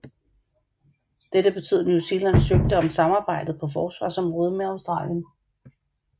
Dette betød New Zealand søgte at øge samarbejdet på forsvarsområdet med Australien